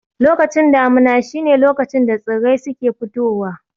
Lokacin damuna shi ne lokacin da tsirrai suke fitowa